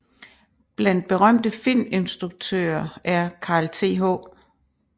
Blandt berømte filminstruktører er Carl Th